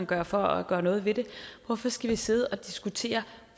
gøre for at gøre noget ved det hvorfor skal vi sidde og diskutere